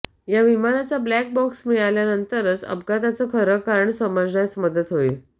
या विमानाचा black box मिळाल्यानंतरच अपघाताच खरं कारण समजण्यास मदत होईल